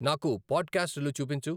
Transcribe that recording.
నాకు పాడ్కాస్టులు చూపించు